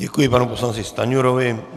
Děkuji panu poslanci Stanjurovi.